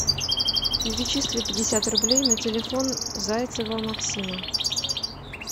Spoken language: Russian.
перечисли пятьдесят рублей на телефон зайцева максима